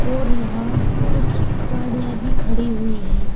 और यहां कुछ गाड़ियां भी खड़ी हुई हैं।